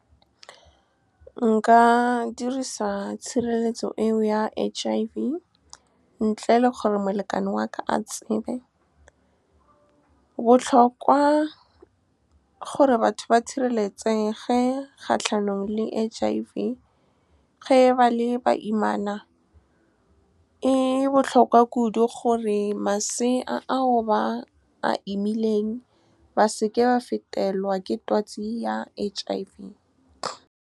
Nka dirisa tshireletso eo ya H_I_V ntle le gore molekane wa ka a tsebe. Botlhokwa gore batho ba sireletsege kgatlhanong le H_I_V ge ba le baimana, e botlhokwa kudu gore masea ao ba a imileng ba seke ba fetelwa ke twatsi ya H_I_V. Nka dirisa tshireletso eo ya H_I_V ntle le gore molekane wa ka a tsebe. Botlhokwa gore batho ba sireletsege kgatlhanong le H_I_V ge ba le baimana, e botlhokwa kudu gore masea ao ba a imileng ba seke ba fetelwa ke twatsi ya H_I_V.